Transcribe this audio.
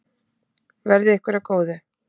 Verði ykkur að góðu.